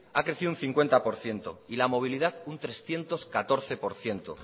ha crecido un cincuenta por ciento y la movilidad un trescientos catorce por ciento